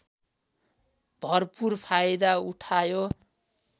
भरपुर फाइदा उठायो